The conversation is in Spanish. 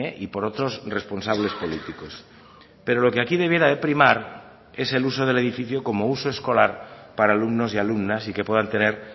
y por otros responsables políticos pero lo que aquí debiera de primar es el uso del edificio como uso escolar para alumnos y alumnas y que puedan tener